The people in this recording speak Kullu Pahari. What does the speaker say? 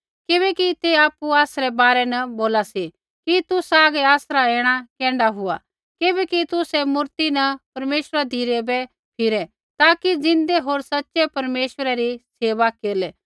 किबैकि ते आपु आसरै बारै न बोला सी कि तुसा हागै आसरा ऐणा कैण्ढा हुआ किबैकि तुसै मूर्ति न परमेश्वरा धिरै बै फिरै ताकि ज़िन्दै होर सच़ै परमेश्वरै री सेवा केरलै